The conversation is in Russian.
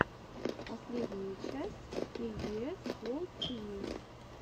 последняя часть кей би эс ворлд ти ви